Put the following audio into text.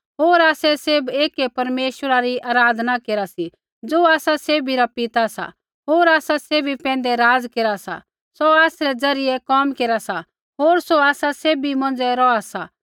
होर आसै सैभ एकै परमेश्वरा री आराधना केरा सी ज़ो आसा सैभी रा पिता सा सौ आसा सैभी पैंधै राज़ केरा सा सौ आसरै ज़रियै कोम केरा सा होर सौ आसा सैभी मौंझ़ै रौहा सा